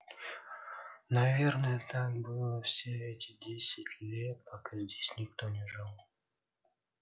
наверное так было все эти десять лет пока здесь никто не жил